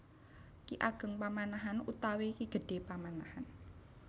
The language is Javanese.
Ki Ageng Pamanahan utawi Ki Gedhé Pamanahan